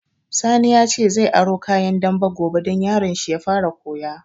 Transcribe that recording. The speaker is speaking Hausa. Sani ya ce zai aro kayan dambe gobe don yaron shi ya fara koya